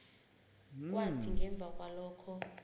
kwathi ngemva kwalokho